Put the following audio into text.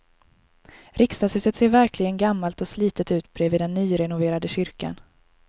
Riksdagshuset ser verkligen gammalt och slitet ut bredvid den nyrenoverade kyrkan.